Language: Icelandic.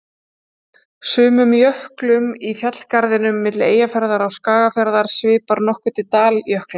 Sumum jöklum í fjallgarðinum milli Eyjafjarðar og Skagafjarðar svipar nokkuð til daljökla.